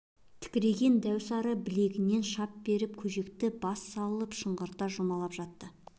тікірейген дәу сары білегінен шап берсін көжекті бас салып шыңғырта жұлмалап жатты